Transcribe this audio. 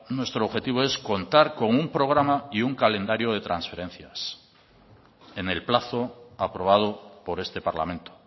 nuestro objetivo es contar con un programa y un calendario de transparencias en el plazo aprobado por este parlamento